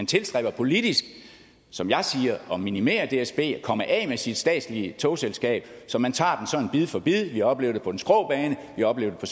tilstræber politisk som jeg siger at minimere dsb og komme af med sit statslige togselskab så man tager det sådan bid for bid vi oplevede med den skrå bane vi oplevede det